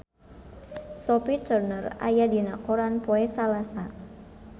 Sophie Turner aya dina koran poe Salasa